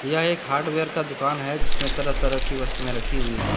यह एक हार्डवेयर का दुकान है जिसमे तरह तरह की वस्तुएं रखी हुई हैं।